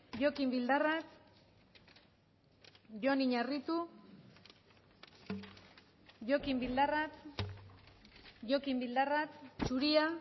jokin bildarratz jon iñarritu jokin bildarratz jokin bildarratz zuria